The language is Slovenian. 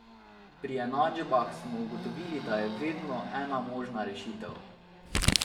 Pri enačbah smo ugotovili, da je vedno ena možna rešitev.